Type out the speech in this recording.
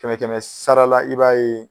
Kɛmɛ kɛmɛ sarala i b'a ye